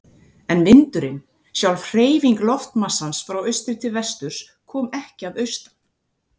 En vindurinn, sjálf hreyfing loftmassans frá austri til vesturs, kom ekki að austan.